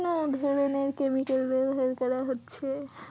ধরনের chemical ব্যাবহার করা হচ্ছে